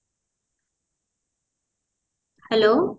hello